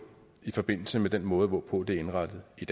i forbindelse med den måde hvorpå det er indrettet i